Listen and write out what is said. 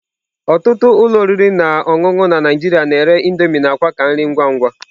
Ọtụtụ ụlọ oriri na ọṅụṅụ na Naijiria na-ere Indomie na akwa ka nri ngwa ngwa.